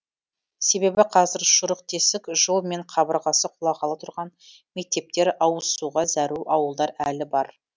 себебі қазір шұрық тесік жол мен қабырғасы құлағалы тұрған мектептер ауызсуға зәру ауылдар әлі бар